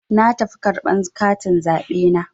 Na tafi karɓar katin zaɓe na.